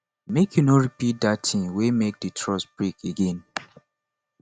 make you no repeat dat tin wey make di trust break again